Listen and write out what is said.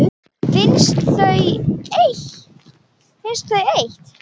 Finnst þau eitt.